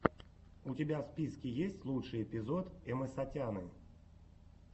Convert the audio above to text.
у тебя в списке есть лучший эпизод эмэсатяны